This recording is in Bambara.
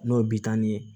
N'o ye bitɔn ye